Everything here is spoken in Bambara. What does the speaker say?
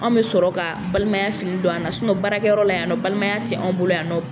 Anw bɛ sɔrɔ ka balimaya fini don an na baarakɛyɔrɔ la yan balimaya tɛ anw bolo yan.